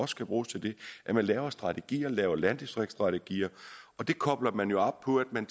skal bruges til det at man laver strategier at man laver landdistriktsstrategier og det kobler man jo op på at man